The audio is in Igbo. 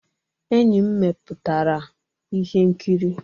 Enyi m mepụtara ihe nkiri.